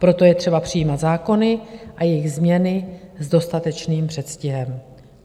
Proto je třeba přijmout zákony a jejich změny s dostatečným předstihem."